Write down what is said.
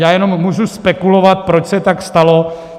Já jenom můžu spekulovat, proč se tak stalo.